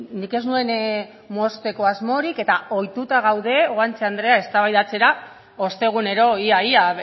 nik ez nuen mozteko asmorik eta ohituta gaude guanche andrea eztabaidatzera ostegunero ia ia